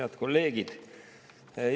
Head kolleegid!